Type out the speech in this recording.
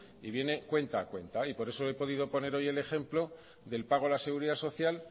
y viene cuenta a cuenta y por eso he podido poner hoy el ejemplo del pago a la seguridad social